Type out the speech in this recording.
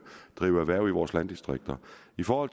erhverv i vores landdistrikter i forhold